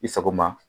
I sago ma